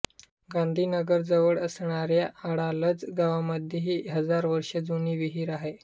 गांधीनगरजवळ असणाऱ्या अडालज गावामध्ये ही हजार वर्षे जुनी विहीर आहे